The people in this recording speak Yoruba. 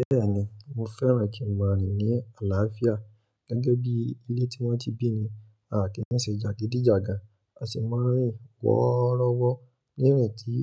Bẹ́ẹ̀ni mo fẹ́ràn kí ń máa rin ní àlàáfíà gẹ́gẹ́ bí ilé tí wọ́n ti bí mi àkí mise jagidijagan. A sì máa ń rìn wọ́rọ́wọ́ ní ìrìn tí